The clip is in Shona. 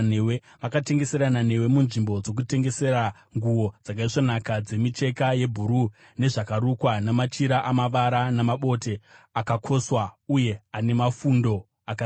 Vakatengeserana newe munzvimbo dzokutengesera nguo dzakaisvonaka, dzemicheka yebhuruu, nezvakarukwa, namachira amavara namabote akakoswa uye ane mafundo akasimba.